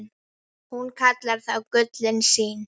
Hún kallaði þá gullin sín.